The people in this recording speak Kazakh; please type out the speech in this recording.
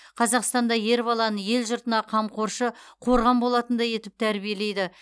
қазақстанда ер баланы ел жұртына қамқоршы қорған болатындай етіп тәрбиелейді